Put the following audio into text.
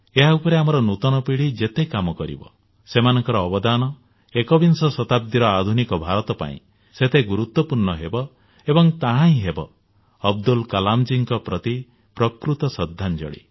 ଏହାର ଉପରେ ଆମର ନୂତନ ପିଢ଼ି ଯେତେ କାମ କରିବ ସେମାନଙ୍କ ଅବଦାନ ଏକବିଂଶ ଶତାଦ୍ଦୀର ଆଧୁନିକ ଭାରତ ପାଇଁ ସେତେ ଗୁରୁତ୍ୱପୂର୍ଣ୍ଣ ହେବ ଏବଂ ତାହା ହିଁ ହେବ ଅବଦୁଲ କଲାମ ଜୀଙ୍କ ପ୍ରତି ପ୍ରକୃତ ଶ୍ରଦ୍ଧାଞ୍ଜଳି